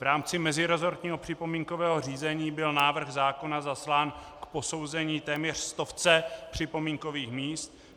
V rámci meziresortního připomínkového řízení byl návrh zákona zaslán k posouzení téměř stovce připomínkových míst.